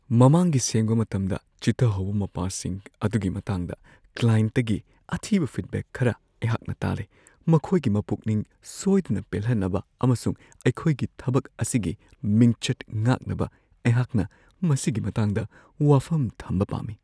ꯃꯃꯥꯡꯒꯤ ꯁꯦꯡꯕ ꯃꯇꯝꯗ ꯆꯤꯊꯍꯧꯕ ꯃꯄꯥꯁꯤꯡ ꯑꯗꯨꯒꯤ ꯃꯇꯥꯡꯗ ꯀ꯭ꯂꯥꯢꯟꯠꯇꯒꯤ ꯑꯊꯤꯕ ꯐꯤꯗꯕꯦꯛ ꯈꯔ ꯑꯩꯍꯥꯛꯅ ꯇꯥꯔꯦ ꯫ ꯃꯈꯣꯏꯒꯤ ꯃꯄꯨꯛꯅꯤꯡ ꯁꯣꯏꯗꯅ ꯄꯦꯜꯍꯟꯅꯕ ꯑꯃꯁꯨꯡ ꯑꯩꯈꯣꯏꯒꯤ ꯊꯕꯛ ꯑꯁꯤꯒꯤ ꯃꯤꯡꯆꯠ ꯉꯥꯛꯅꯕ ꯑꯩꯍꯥꯛꯅ ꯃꯁꯤꯒꯤ ꯃꯇꯥꯡꯗ ꯋꯥꯐꯝ ꯊꯝꯕ ꯄꯥꯝꯃꯤ ꯫